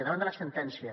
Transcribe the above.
davant de la sentència